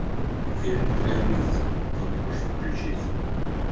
фильм граница ты можешь включить